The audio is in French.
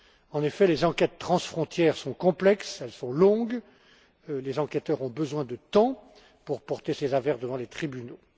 En effet, les enquêtes transfrontières sont complexes et longues, et les enquêteurs ont besoin de temps pour porter ces affaires devant les tribunaux.